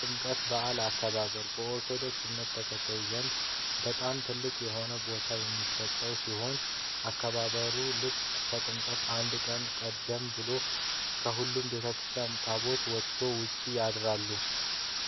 የጥምቀት በአል በኦርቶዶክስ እምነት ተከታዮች ዘንድ በጣም ትልቅ የሆነ ቦታ የሚሰጠው ሲሆን አከባበሩም ልክ ከጥምቀት አንድ ቀን ቀደም ብሎ ከሁሉም ቤተክርስቲያናት ታቦታት ወተው ውጪ ያድራሉ።